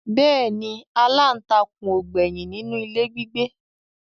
Bẹ́ẹ̀ ni aláǹtakûn ò gbẹ́yìn nínú ilé gbígbé